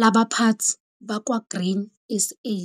labaphathi bakwa-Grain SA.